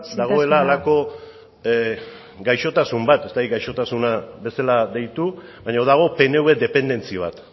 dagoela halako gaixotasun bat ez dakit gaixotasuna bezala deitu baina dago pnv dependentzia bat